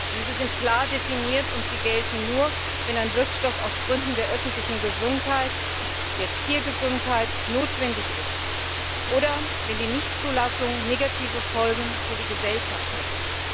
Diese sind klar definiert und gelten nur, wenn ein Wirkstoff aus Gründen der öffentlichen Gesundheit, der Tiergesundheit notwendig ist oder wenn die Nichtzulassung negative Folgen für die Gesellschaft hätte.